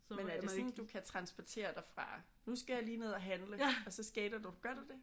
Men er det sådan at du kan transportere dig fra nu skal jeg lige ned at handle. Og så skater du? Gør du det?